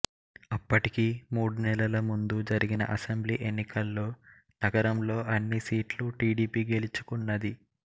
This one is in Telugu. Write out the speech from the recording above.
అప్పటికి మూడు నెలల ముందు జరిగిన అసెంబ్లీ ఎన్నికల్లో నగరంలో అన్నిసీట్లు టీడీపీ గెలుచుకున్నది